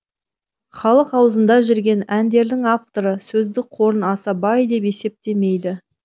халық ауызында жүрген әндердің авторы сөздік қорын аса бай деп есептемейді